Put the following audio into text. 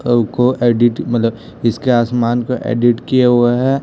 को एडिट मतलब इसके आसमान को एडिट किया हुआ है।